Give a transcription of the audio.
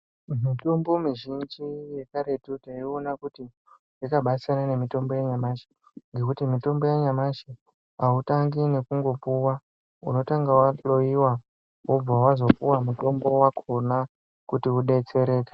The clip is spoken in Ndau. Mitombo mizhinji yekaretu taiwona kuti yakabasiyana nemitombo yanyamashi ngekuti mitombo yanyamashi autangi ngekungopuwa unotanga wahloyiwa wobva wazopuwa mutombo wachona kuti udetsereke.